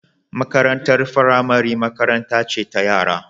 Makarantar firamare makaranta ce ta yara